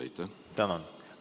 Tänan!